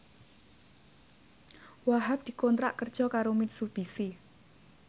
Wahhab dikontrak kerja karo Mitsubishi